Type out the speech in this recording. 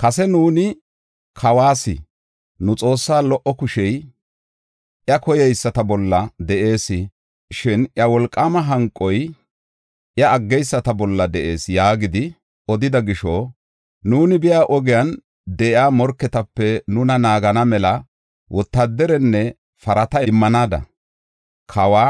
Kase nuuni kawas, “Nu Xoossaa lo77o kushey iya koyeyisata bolla de7ees; shin iya wolqaama hanqoy iya aggeyisata bolla de7ees” yaagidi odida gisho, nuuni biya ogiyan de7iya morketape nuna naagana mela wotaadarenne parata immanaada kawa